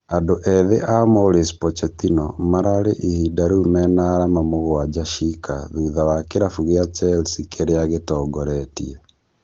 Andũ ethĩ a Maurice Pochettino mararĩ ihinda rĩu mena arama mũgwanja ciika thutha wa kĩrabu kĩa Chelsea kĩria gĩtongoretie